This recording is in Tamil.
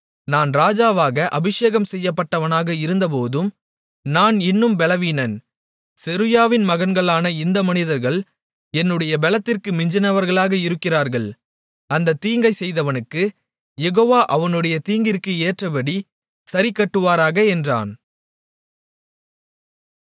நான் ராஜாவாக அபிஷேகம்செய்யப்பட்டவனாக இருந்தபோதும் நான் இன்னும் பெலவீனன் செருயாவின் மகன்களான இந்த மனிதர்கள் என்னுடைய பெலத்திற்கு மிஞ்சினவர்களாக இருக்கிறார்கள் அந்தத் தீங்கைச் செய்தவனுக்குக் யெகோவா அவனுடைய தீங்கிற்கு ஏற்றபடிச் சரிக்கட்டுவாராக என்றான்